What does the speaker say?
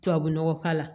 Tubabu nɔgɔ k'a la